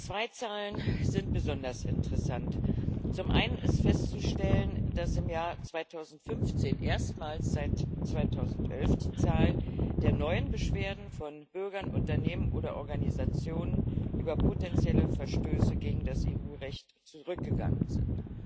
Zwei Zahlen sind besonders interessant Zum einen ist festzustellen, dass im Jahr 2015 erstmals seit 2011 die Zahl der neuen Beschwerden von Bürgern, Unternehmen oder Organisationen über potenzielle Verstöße gegen das EU Recht zurückgegangen ist.